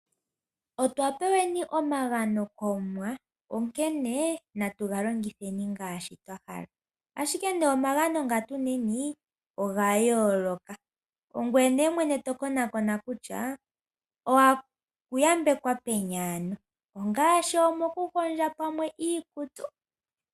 Otwapeweni omagano komuwa onkene natu galongitheni ngaashi twahala. Ashike nee omagano nga tuna ogayooloka. Ongoye mwene to konaakona kutya owayambekwa peni ano ,ngaashi mokuhondja pamwe iikutu.